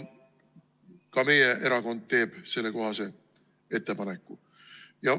Ka meie erakond teeb sellekohase ettepaneku.